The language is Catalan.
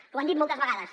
ho han dit moltes vegades